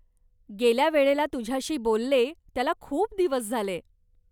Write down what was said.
गेल्या वेळेला तुझ्याशी बोलले त्याला खूप दिवस झाले.